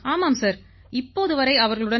ஆமாம் சார் இப்போது வரை அவர்களுடன்